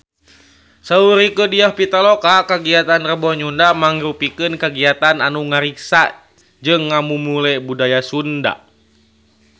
Saur Rieke Diah Pitaloka kagiatan Rebo Nyunda mangrupikeun kagiatan anu ngariksa jeung ngamumule budaya Sunda